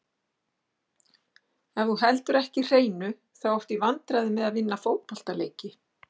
Ef þú heldur ekki hreinu, þá áttu í vandræðum með að vinna fótboltaleiki.